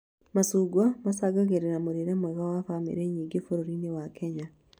Macungwa macangagĩra mũrĩre mwega wa bamĩrĩ nyingĩ bũrũri-inĩ wa Kenya